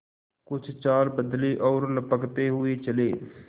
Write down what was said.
कुछ चाल बदली और लपकते हुए चले